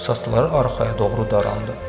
Saçları arxaya doğru darandı.